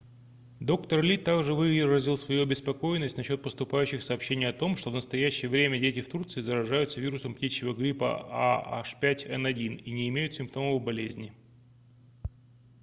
доктор ли также выразил свою обеспокоенность насчёт поступающих сообщений о том что в настоящее время дети в турции заражаются вирусом птичьего гриппа ah5n1 и не имеют симптомов болезни